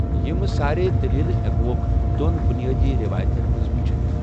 یمہٕ ساریییہ دلیلہٕ ہیكوكھ دو٘ن بٗنِیٲدی ریوایتن منز وٗچھِتھ ۔